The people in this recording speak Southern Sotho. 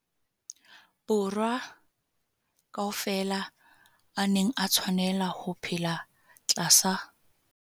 Borwa ka ofela a neng a tshwanela ho phela tlasa